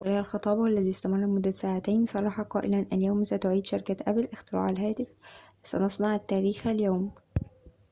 وخلال خطابه الذي استمر لمدة ساعتين صرح قائلاً اليوم ستعيد شركة أبل اختراع الهاتف سنصنع التاريخ اليوم